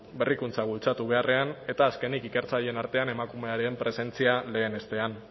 berrikuntza bultzatu beharrean eta azkenik ikertzaileen artean emakumeen presentzia lehenestea